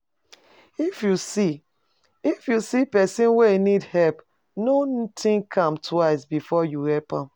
If you see, if you see pesin wey e need help, no think am twice before you help am